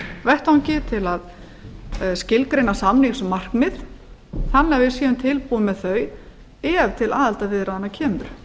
vettvangi til að skilgreina samningsmarkmið þannig að við séum tilbúin með þau ef til aðildarviðræðna kemur